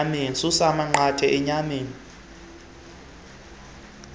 susa amanqathe enyameni